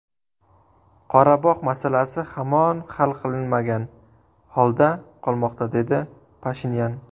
Qorabog‘ masalasi hamon hal qilinmagan holda qolmoqda”, dedi Pashinyan.